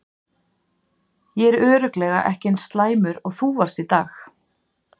Ég er örugglega ekki eins slæmur og þú varst í dag.